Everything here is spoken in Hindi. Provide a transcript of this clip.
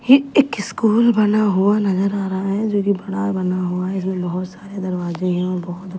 ये एक स्कूल बना हुआ नज़र आ रहा है जो कि फराल बना हुआ है इसमें बहुत सारे दरवाजे हैं और बहुत--